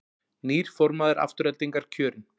Nýr formaður Aftureldingar kjörinn